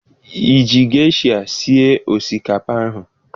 Ị ji gesha sie osikapa ahụ?